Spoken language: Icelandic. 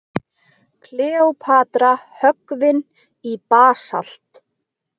Kleópatra höggvin í basalt.